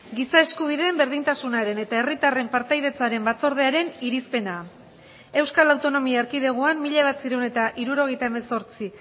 giza eskubideen berdintasunaren eta herritarren partaidetzaren batzordearen irizpena euskal autonomia erkidegoan mila bederatziehun eta hirurogeita hemezortzi